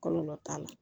Kɔlɔlɔ t'a la